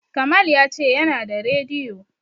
Kamal ya ce yana da radiyo.